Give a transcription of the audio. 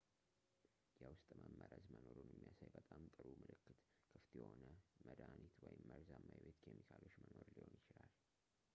የውስጥ መመረዝ መኖሩን የሚያሳይ በጣም ጥሩው ምልክት ክፍት የሆነ መድኃኒት ወይም መርዛማ የቤት ኬሚካሎች መኖር ሊሆን ይችላል